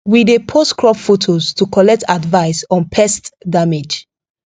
we dey post crop photos to collect advice on pest damage